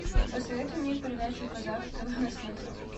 посоветуй мне передачу казах тв на смотрешке